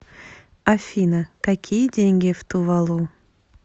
афина какие деньги в тувалу